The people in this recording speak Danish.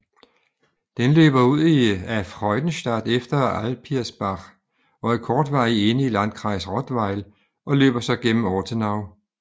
Den løber ud af Freudenstadt efter Alpirsbach og er kortvarigt inde i landkreis Rottweil og løber så gennem Ortenau